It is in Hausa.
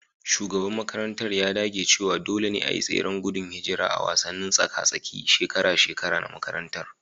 Shugaban makarantar ya dage cewa dole ne a yi tseren gudun hijira a wasannin tsaka-tsakin shekara-shekara na makaranta